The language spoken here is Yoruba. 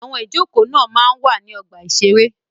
Àwọn ìjókòó máa ń wà ní ọgbà-ìṣeré.